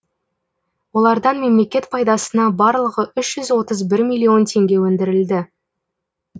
олардан мемлекет пайдасына барлығы үш жүз отыз бір миллион теңге өндірілді